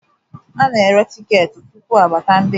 a na-ere tiketi tupu abata ndị njem